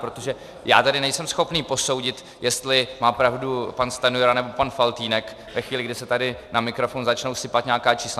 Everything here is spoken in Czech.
Protože já tady nejsem schopný posoudit, jestli má pravdu pan Stanjura, nebo pan Faltýnek, ve chvíli, kdy se tady na mikrofon začnou sypat nějaká čísla.